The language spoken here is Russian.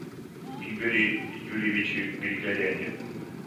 игоре юрьевиче григоряне